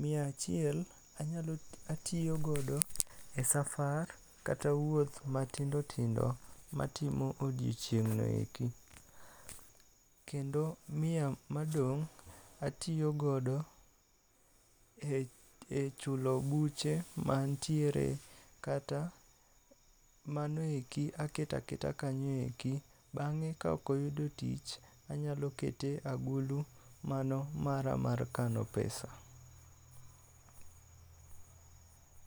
Mia achiel anyalo atiyo godo e safar kata wuoth matindo tindo matimo e odiochieng' ni eki kendo mia madong' atiyo godo e chulo buche mantiere kata mano eki aketaketa kanyo e ki. Bang'e kaok oyudo tich anyalo kete e agulu mano mara mar kano pesa.